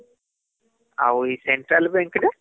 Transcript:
ଆଉ central bank ରେ ?